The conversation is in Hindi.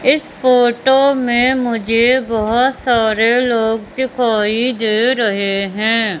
इस फोटो में मुझे बहोत सारे लोग दिखाई दे रहे हैं।